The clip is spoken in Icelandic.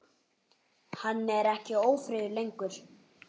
Hann er ekki ófríður lengur.